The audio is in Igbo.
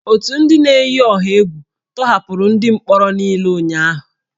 Otu ndị na-eyi ọha egwu tọhapụrụ ndị mkpọrọ niile ụnyahụ